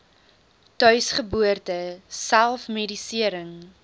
tuisgeboorte self medisering